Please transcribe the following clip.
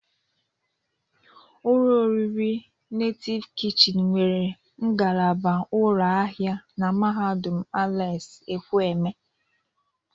Ụlọ oriri Netịv Kịchịnị nwere ngalaba ụlọ ahịa na mahadụm Alex Ekwueme.